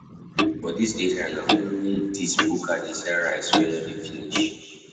For dis area, na only dis buka dey sell rice wey no dey finish.